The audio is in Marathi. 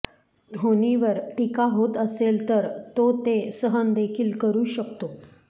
धोनीवर टीका होत असेल तर तो ती सहन देखील करु शकतो